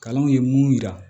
Kalanw ye mun yira